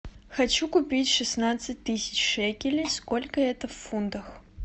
хочу купить шестнадцать тысяч шекелей сколько это в фунтах